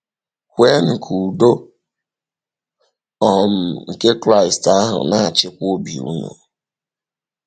“Kwènụ ka ùdò um nke Kraịst ahụ na-achịkwa obi ùnụ…”